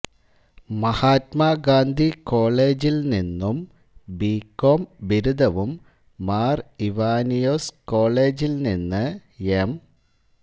മഹാത്മാഗാന്ധി കോളേജിൽ നിന്നും B com ബിരുദവും മാർ ഇവാനിയോസ് കോളേജിൽ നിന്ന് എം